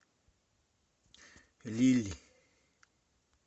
лилии